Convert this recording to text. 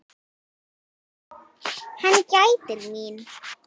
Hann gætir mín.